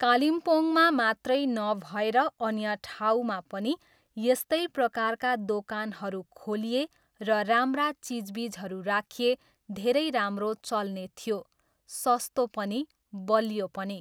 कालिम्पोङमा मात्रै नभएर अन्य ठाउँमा पनि यस्तै प्रकारका दोकानहरू खोलिए र राम्रा चिजबिजहरू राखिए धेरै राम्रो चल्ने थियो, सस्तो पनि, बलियो पनि।